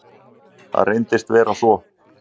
Það reyndist vera svo.